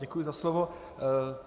Děkuji za slovo.